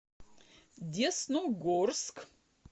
десногорск